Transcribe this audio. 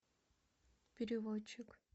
переводчик